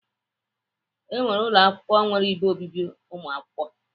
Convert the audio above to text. E nwere ụlọ akwụkwọ nwere ebe obibi ụmụakwụkwọ.